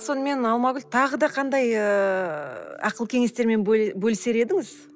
сонымен алмагүл тағы да қандай ыыы ақыл кеңестермен бөлісер едіңіз